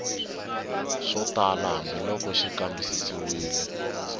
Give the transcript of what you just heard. swo tala hambiloko xi kambisisiwile